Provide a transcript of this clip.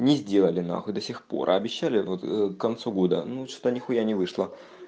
ни сделали нахуй до сих пор а обещали вот к концу года ну что-то нихуя ни вышло